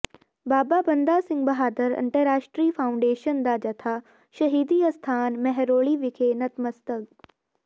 ਬਾਬਾ ਬੰਦਾ ਸਿੰਘ ਬਹਾਦਰ ਅੰਤਰਰਾਸ਼ਟਰੀ ਫਾਊਾਡੇਸ਼ਨ ਦਾ ਜਥਾ ਸ਼ਹੀਦੀ ਅਸਥਾਨ ਮਹਿਰੋਲੀ ਵਿਖੇ ਨਤਮਸਤਕ